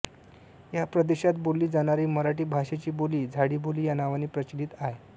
या प्रदेशात बोलली जाणारी मराठी भाषेची बोली झाडीबोली या नावाने प्रचलित आहे